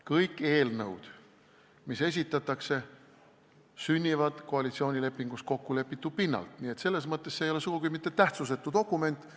Kõik eelnõud, mis esitatakse, sünnivad koalitsioonilepingus kokkulepitu pinnalt, nii et selles mõttes ei ole see sugugi mitte tähtsusetu dokument.